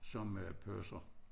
Som øh purser